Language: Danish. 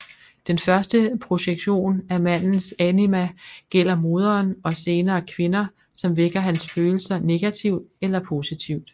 Den første projektion af mandens anima gælder moderen og senere kvinder som vækker hans følelser negativt eller positivt